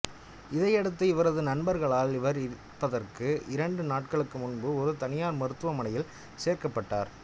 இதையடுத்து இவரது நண்பர்களால் இவர் இறப்பதற்கு இரண்டு நாட்களுக்கு முன்பு ஒரு தனியார் மருத்துவமனையில் சேர்க்கப்பட்டார்